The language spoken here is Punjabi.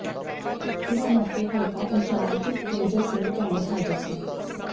ਇਸ ਮੌਕੇ ਹਲਕਾ ਇੰਚਾਰਜ ਮੇਜਰ ਸਿੰਘ ਭੈਣੀ ਹਾਜ਼ਰ ਸਨ